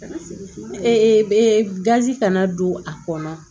gazi kana don a kɔnɔ